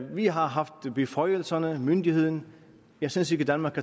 vi har haft beføjelserne myndigheden jeg synes ikke danmark